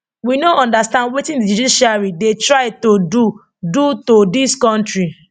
we no understand wetin di judiciary dey try to do do to dis kontri